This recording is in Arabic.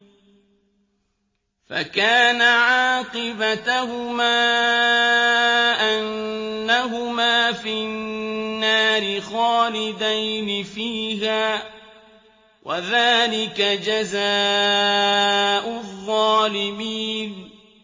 فَكَانَ عَاقِبَتَهُمَا أَنَّهُمَا فِي النَّارِ خَالِدَيْنِ فِيهَا ۚ وَذَٰلِكَ جَزَاءُ الظَّالِمِينَ